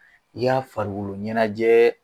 I ka farikoloɲɛnajɛ